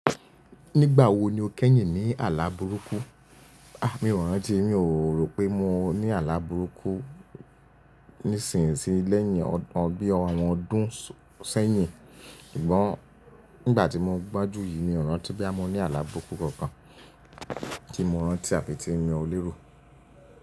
Nígbà wo ni o kẹ́yìn ní àlá burúkú? A! Mi ò rántí, mi ò rò pé mo ní àlá burúkú nísinsìnyí lẹ́yìn ọgbọ̀n ọdún sẹ́yìn, ṣùgbọ́n nígbà tí mo gbọ́njú yìí mi ò rántí boya mo ní àlá burúkú kankan tí mo rántí àti tí mo lérò.